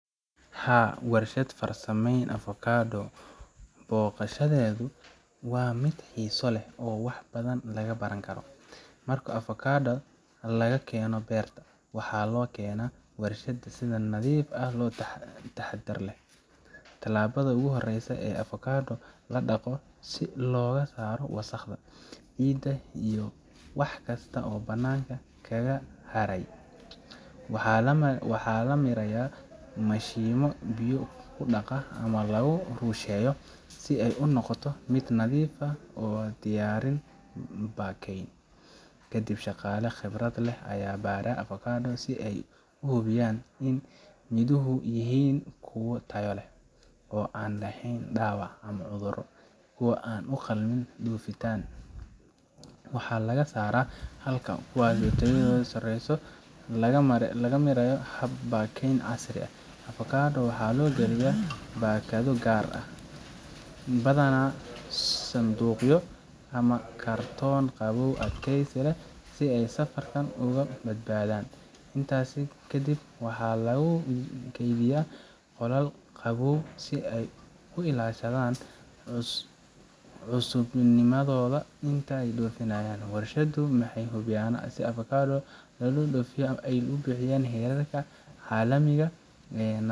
Haa, warshad farsameysa avocado booqashadeedu waa mid xiiso leh oo wax badan laga baran karo. Marka avocado laga keeno beerta, waxaa loo keenaa warshadda si nadiif ah oo taxaddar leh. Talaabada ugu horreysa waa in avocado la dhaqo si looga saaro wasakhda, ciidda, iyo wax kasta oo banaanka kaga haray. Waxaa la mariyaa mashiinno biyo ku dhaqa ama lagu rusheeyo si ay u noqoto mid nadiif ah oo u diyaarsan baakayn. Kadib, shaqaale khibrad leh ayaa baara avocado si ay u hubiyaan in midhuhu yihiin kuwo tayo leh, oo aan lahayn dhaawac ama cudurro. Kuwo aan u qalmin dhoofinta waxaa laga saaraa, halka kuwa tayadoodu sarreyso la mariyo hab baakayn casri ah. avocado waxaa loo galiya baakado gaar ah, badanaa sanduuqyo ama kartoono qabow adkeysi leh, si ay safarka uga badbaadaan. Intaas kadib, waxaa lagu kaydiyaa qolal qabow si ay u ilaashadaan cusubnimadooda inta la dhoofinayan. Warshaduhu waxay hubiyaan in avocado la dhoofinayo ay buuxiso heerarka caalamiga ah ee.